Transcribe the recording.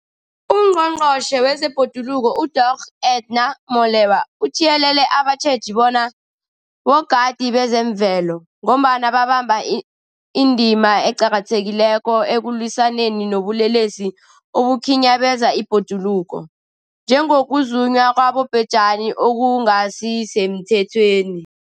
UNgqongqotjhe wezeBhoduluko uDorh Edna Molewa uthiyelele abatjheji bona bogadi bezemvelo, ngombana babamba indima eqakathekileko ekulwisaneni nobulelesi obukhinyabeza ibhoduluko, njengokuzunywa kwabobhejani okungasisemthethweni.